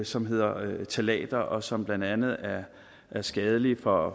som hedder ftalater og som blandt andet er er skadelige for